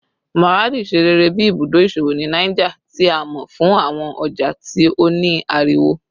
Maradi ṣe rere bi ibudo iṣowo ni Niger, ti a mọ fun awọn ọja ti o ni ariwo